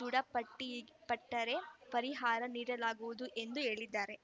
ದೃಢಪಟ್ಟರೆ ಪರಿಹಾರ ನೀಡಲಾಗುವುದು ಎಂದು ಹೇಳಿದ್ದಾರೆ